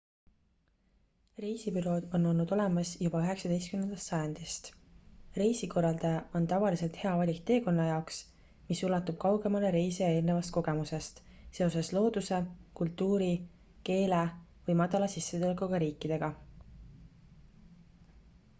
reisibürood on olnud olemas juba 19 sajandist reisikorraldaja on tavaliselt hea valik teekonna jaoks mis ulatub kaugemale reisija eelnevast kogemusest seoses looduse kultuuri keele või madala sissetulekuga riikidega